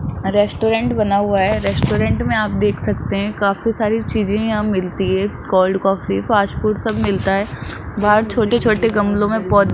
restaurant बना हुआ है रेस्टोरेंट में आप देख सकते हैं काफी सारी चीजें यहां मिलती है कोल्ड काफी फास्ट फूड सब मिलता है बाहर छोटे छोटे गमलों में पौ --